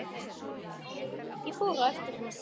Ég fór á eftir henni.